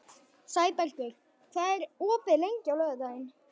Sæbergur, hvað er opið lengi á laugardaginn?